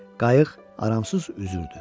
Qayıq aramsız üzürdü.